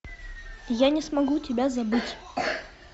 я не смогу тебя забыть